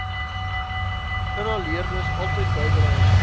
inhaleerders altyd byderhand